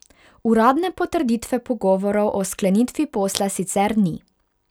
Uradne potrditve pogovorov o sklenitvi posla sicer ni.